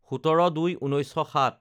১৭/০২/১৯০৭